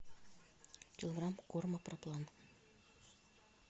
килограмм корма проплан